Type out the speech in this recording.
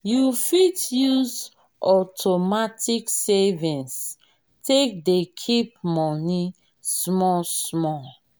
you fit use automatic savings take dey keep money small small